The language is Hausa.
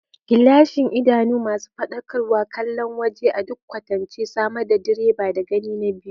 Gilashin, idanu masu faɗakarwa, kallon waje a duk kwatance, samar da direban da gani na biyu.